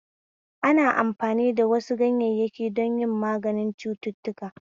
Ana amfani da wasu ganyayyaki don yi maganin cututtuka